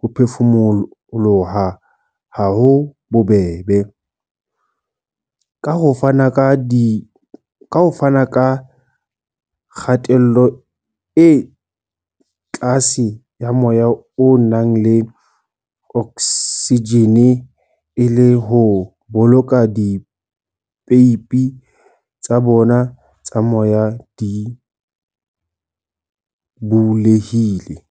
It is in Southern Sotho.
ho phefumoloha habobebe, ka ho fana ka kgatello e tlase ya moya o nang le oksijene e le ho boloka dipeipi tsa bona tsa moya di bulehile.